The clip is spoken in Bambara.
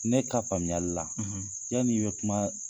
Ne ka faamuyali la, cɛ min bɛ kumaa